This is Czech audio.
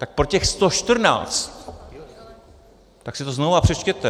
Tak pro těch 114 - tak si to znovu přečtěte.